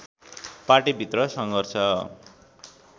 party भित्र सङ्घर्ष